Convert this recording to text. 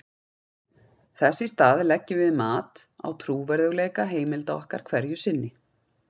þess í stað leggjum við mat á trúverðugleika heimilda okkar hverju sinni